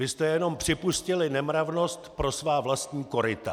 Vy jste jenom připustili nemravnost pro svá vlastní koryta! .